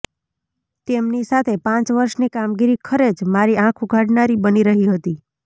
તેમની સાથે પાંચ વર્ષની કામગીરી ખરે જ મારી આંખ ઉઘાડનારી બની રહી હતી